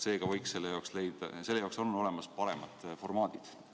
Seega, selle arutamiseks on olemas paremad formaadid.